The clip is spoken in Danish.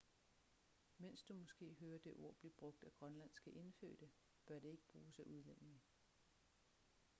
mens du måske hører det ord blive brugt af grønlandske indfødte bør det ikke bruges af udlændinge